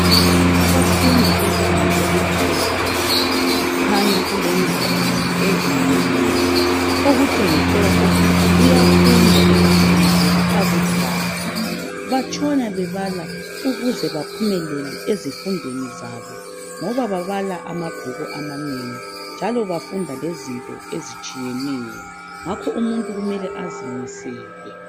Abafundi bebanga eliphezulu kukhanya kulengwalo ezinengi .Okutshengisela ukuthi kuyafundwa ebangeni leli .Akudlalwa batshona bebala ukuze baphumelele ezifundweni zabo .Ngoba babala amabhuku amanengi njalo bafunda lezinto ezitshiyeneyo. Ngakho umuntu kumele azimisele .